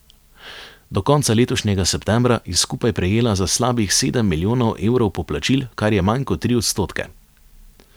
Do konca letošnjega septembra je skupaj prejela za slabih sedem milijonov evrov poplačil, kar je manj kot tri odstotke.